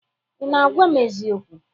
Ị na-agwa m eziokwu?